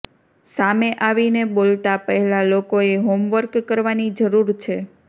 સામે આવીને બોલતા પહેલા લોકોએ હોમવર્ક કરવાની જરૂર છે